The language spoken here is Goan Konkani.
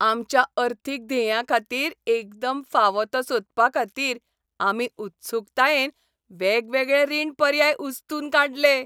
आमच्या अर्थीक ध्येयांखातीर एकदम फावो तो सोदपाखातीर आमी उत्सूकतायेन वेगवेगळे रीण पर्याय उस्तून काडले.